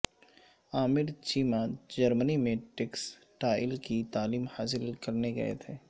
عامر چیمہ جرمنی میں ٹیکسٹائل کی تعلیم حاصل کرنے گئے تھے